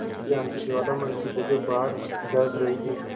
ज्ञान की ज्वाला मन की जगह बाहर दहक रही थी